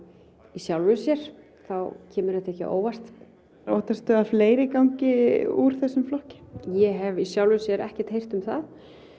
í sjálfu sér kemur þetta ekki á óvart óttastu að fleiri gangi úr þessum flokki ég hef í sjálfu sér ekkert heyrt um það